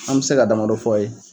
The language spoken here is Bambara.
An bɛ se ka dama dɔ fɔ a ye.